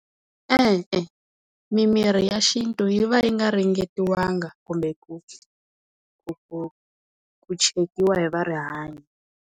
E-e, mimirhi ya xintu yi va yi nga ringetiwanga kumbe ku ku ku ku chekiwa hi va rihanyo.